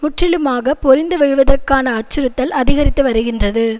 முற்றிலுமாக பொறிந்து விழுவதற்கான அச்சுறுத்தல் அதிகரித்து வருகின்றது